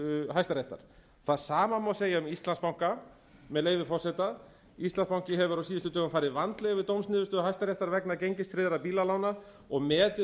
hæstaréttar það sama má segja um íslandsbanka með leyfi forseta íslandsbanki hefur á síðustu dögum farið vandlega yfir dómsniðurstöðu hæstaréttar vegna gengistryggðra bílalána og metið